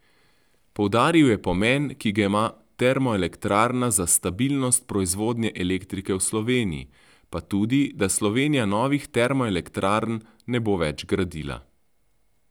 Poudaril je pomen, ki ga ima termoelektrarna za stabilnost proizvodnje elektrike v Sloveniji, pa tudi, da Slovenija novih termoelektrarn ne bo več gradila.